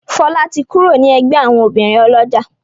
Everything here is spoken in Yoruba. Fola tí kúrò ní ègbé àwọn obìrin olójà.